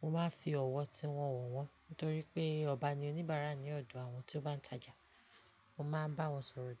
mo máa ń fi ọ̀wọ̀ tiwọn wo wọ́n. Nítorí pé ọba ni oníbàárà ní ọ̀dọ̀ àwọn tí ó bá ń tajà. Mo máa ń bá wọn sọ̀rọ̀ dáadáa.